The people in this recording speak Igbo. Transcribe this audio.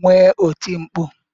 nwee oti mkpu.